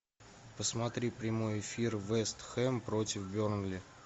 посмотри прямой эфир вест хэм против бернли